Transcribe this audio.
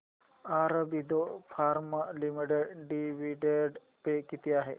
Aurobindo pharma limited dividend pay किती आहे